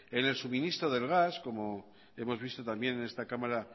en el suministro del gas como hemos visto también en esta cámara